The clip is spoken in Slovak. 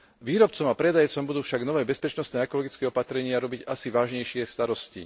Výrobcom a predajcom budú však nové bezpečnostné a ekologické opatrenia robiť asi vážnejšie starosti.